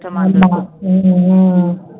உம்